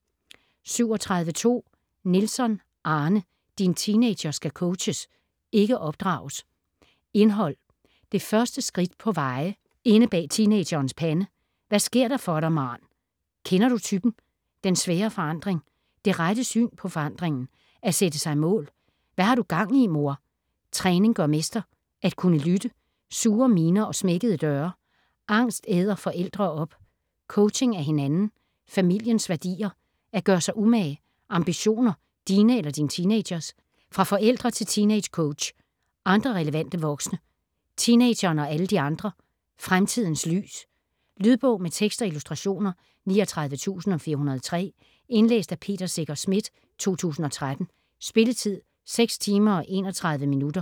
37.2 Nielsson, Arne: Din teenager skal coaches, ikke opdrages Indhold: Det første skridt på veje, Inde bag teenagerens pande, Hvad sker der for dig, maarn, Kender du typen?, Den svære forandring, Det rette syn på forandringen, At sætte sig mål, Hva' har du gang i, mor?, Træning gør mester, At kunne lytte, Sure miner og smækkede døre, Angst æder forældre op, Coaching af hinanden, familiens værdier, At gøre sig umage, Ambitioner - dine eller din teenagers?, Fra forældre til teeangecoach, Andre relevante voksne, Teenageren og alle de andre, "Fremtidens lys". Lydbog med tekst og illustrationer 39403 Indlæst af Peter Secher Schmidt, 2013. Spilletid: 6 timer, 31 minutter.